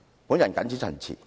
"我謹此陳辭。